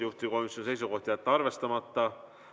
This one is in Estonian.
Juhtivkomisjoni seisukoht: jätta arvestamata.